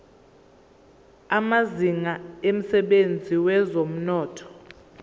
amazinga emsebenzini wezomnotho